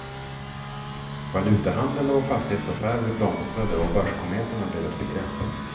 Valutahandel och fastighetsaffärer blomstrade och börskometerna blev ett begrepp.